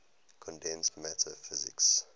condensed matter physics